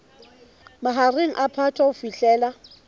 mahareng a phato ho fihlela